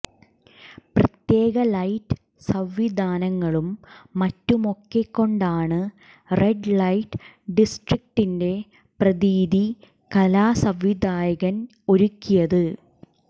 പ്രത്യേക ലൈറ്റ് സംവിധാനങ്ങളും മറ്റുമൊക്കെ കൊണ്ടാണ് റെഡ് ലൈറ്റ് ഡിസ്ട്രികിന്റെ പ്രതീതി കലാസംവിധായകൻ ഒരുക്കിയത്